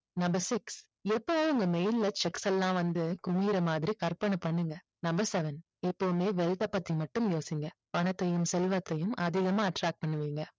எப்பவும் உங்க mail ல cheque எல்லாம் வந்து குமியுற மாதிரி கற்பனை பண்ணுங்க number seven எப்போதுமே wealth அ பத்தி மட்டுமே யோசிங்க பணத்தையும் செல்வத்தையும் அதிகமா attract பண்ணுவீங்க